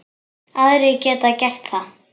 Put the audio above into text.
Aðrir geta gert það.